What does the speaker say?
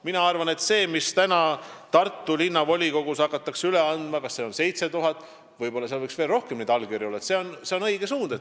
Mina arvan, et see, mida täna Tartu linnavolikogus hakatakse üle andma – seal on 7000 allkirja, aga võib-olla võiks neid olla veelgi rohkem –, on õige suund.